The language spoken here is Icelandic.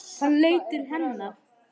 Hann leit til hennar.